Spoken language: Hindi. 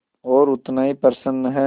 और उतना ही प्रसन्न है